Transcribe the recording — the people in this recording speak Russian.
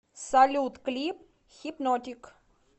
салют клип хипнотик